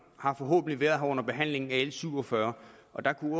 har forhåbentlig været her under behandlingen af l syv og fyrre og der kunne